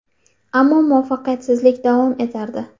Ammo muvaffaqiyatsizlik davom etardi.